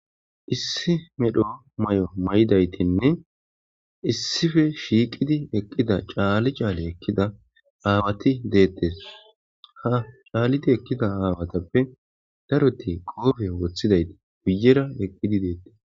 issi medho may7o may7idaytinne issife shiiqidi eqqida caali caali ekkida aawati deettes ha caalidi ekkida aawatappe daroti qoofe woththidaytii buyera eqqidi deettes